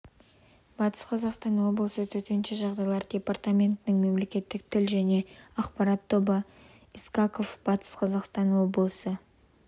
батыс қазақстан облысы төтенше жағдайлар департаментінің мемлекеттік тіл және ақпарат тобы мэлс искаков батыс қазақстан облысы